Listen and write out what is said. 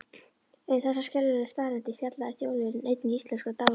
Um þessar skelfilegu staðreyndir fjallaði Þjóðviljinn einn íslenskra dagblaða.